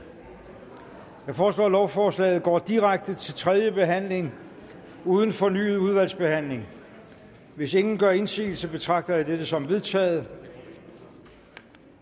jeg foreslår at lovforslaget går direkte til tredje behandling uden fornyet udvalgsbehandling hvis ingen gør indsigelse betragter jeg dette som vedtaget